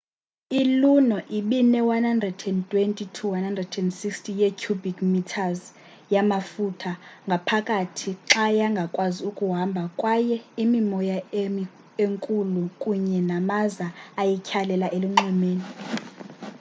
iluno ibine-120-160 ye-cubic metres yamaftuha ngaphakathi xa yangakwazi ukuhamba kwaye imimoya enkulu kunye namaza ayityhalela elunxwemeni